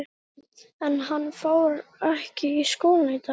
Andri: En hann fór ekki í skólann í dag?